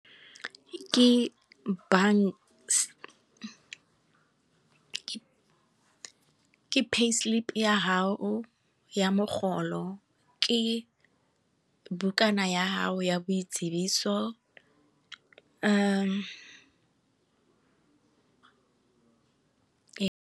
ke banks, ke pay slip ya hao ya mogolo, ke bukana ya hao ya boitsibiso.